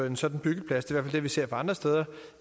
en sådan byggeplads det er det vi ser andre steder